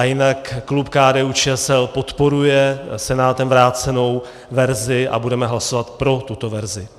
A jinak klub KDU-ČSL podporuje Senátorem vrácenou verzi a budeme hlasovat pro tuto verzi.